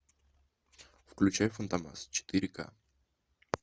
включай фантомас четыре ка